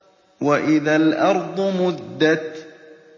وَإِذَا الْأَرْضُ مُدَّتْ